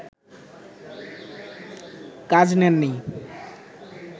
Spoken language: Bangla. কাজ নেননি